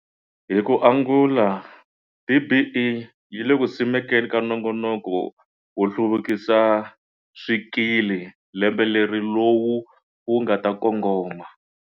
Hi ku angula, DBE yi le ku simekeni ka nongonoko wo hluvukisa swikili lembe leri lowu wu nga ta kongoma.